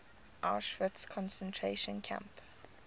auschwitz concentration camp